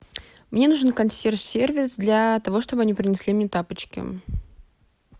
мне нужен консьерж сервис для того чтобы они принесли мне тапочки